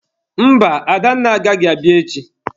Mba, Adanne agaghị abịa echi.